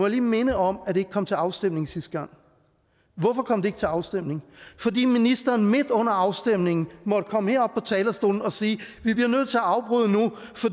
lige minde om at det ikke kom til afstemning sidste gang hvorfor kom det ikke til afstemning fordi ministeren midt under afstemningen måtte komme herop på talerstolen og sige